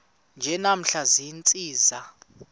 nje namhla ziintsizi